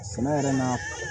Sɛnɛ yɛrɛ na